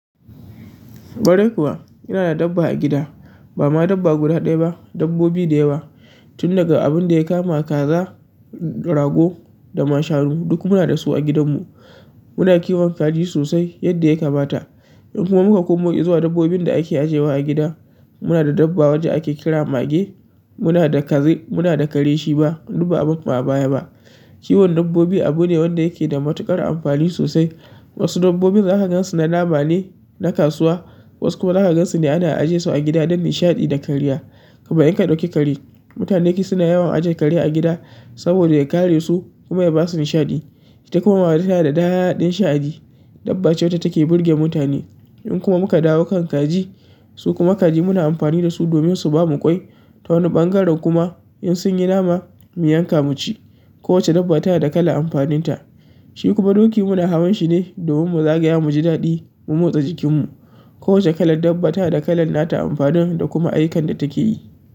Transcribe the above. Ƙwarai kuwa inada dabba a gida. Ba ma dabba guda ɗaya ba, dabbobi da yawa. Tun daga abin da ya kama kaza, rago, da ma shanu duk muna da su a gidanmu. Muna kiwon kaji sosai yadda ya kamata. In kuma muka komo izuwa dabbobin da ake ajewa a gida, muna da dabba wacce ake kira mage, muna da kaze, muna da kare shima, duk ba'a barsu a baya ba. Kiwon dabbobi abu ne wanda yake da matuƙar amfani sosai. Wasu dabbobin za ka gansu na nama ne, na kasuwa, wasu kuma za ka gansu ne ana ajesu a gida don nishaɗi da kariya. Kuma in ka ɗauki kare, mutane duk suna yawan ajiye kare a gida saboda ya kare su kuma ya ba su nishaɗi. Ita kuma mage tanada daɗin sha'ani. Dabba ce wacce take burge mutane. In kuma muka dawo kan kaji, su kuma kaji muna amfani da su domin su ba mu ƙwai. Ta wani ɓangaren kuma in sun yi nama, mu yanka mu ci. Kowacce dabba tana da kalan amfaninta. Shi kuma doki muna hawan shi ne domin mu zagaya mu ji daɗi, mu motsa jikinmu. Kowacce kalar dabba tana da kalan nata amfanin da kuma ayyukan da take yi.